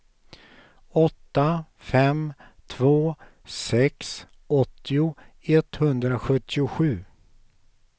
åtta fem två sex åttio etthundrasjuttiosju